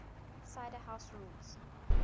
cider house rules